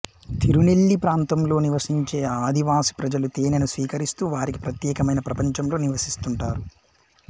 తిరునెల్లీ ప్రాంతంలో నివసించే ఆదివాసి ప్రజలు తేనెను స్వీకరిస్తూ వారికే ప్రత్యేకమైన ప్రపంచంలో నివసిస్తుంటారు